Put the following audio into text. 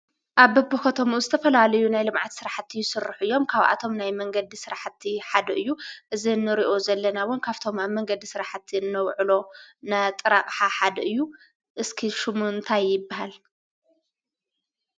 ኣብ በቢ ከተማኡ ኸባቢኡ ዝተፈላለዩ ናይ ልምዓት ስራሕቲ ይስርሑ እዮም። ካብኣቶም ናይ መንገዲ ስራሕቲ ሓደ እዩ። እዚ እንሪኦ ዘለና ውን ካብቶም ኣብ መንገዲ ስራሕቲ እነውዕሎ ጥረ ኣቕሓ ሓደ እዩ። እስኪ ሽሙ እንታይ ይባሃል?